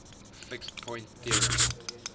fixed point theorem